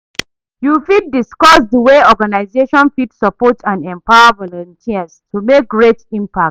You fit discuss the way organization fit support and empower volunteers to take make great impact?